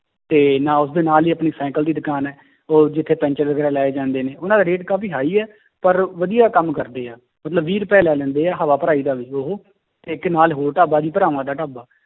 ਤੇ ਨਾ~ ਉਸਦੇ ਨਾਲ ਹੀ ਆਪਣੀ ਸਾਈਕਲ ਦੀ ਦੁਕਾਨ ਹੈ ਉਹ ਜਿੱਥੇ ਪੈਂਚਰ ਲਾਏ ਜਾਂਦੇ ਨੇ, ਉਹਨਾਂ ਦਾ rate ਕਾਫ਼ੀ high ਹੈ ਪਰ ਵਧੀਆ ਕੰਮ ਕਰਦੇ ਆ, ਮਤਲਬ ਵੀਹ ਰੁਪਏ ਲੈ ਲੈਂਦੇ ਹੈ ਹਵਾ ਭਰਾਈ ਦਾ ਉਹ ਤੇ ਇੱਕ ਨਾਲ ਹੋਰ ਢਾਬਾ ਵੀ ਭਰਾਵਾਂ ਦਾ ਢਾਬਾ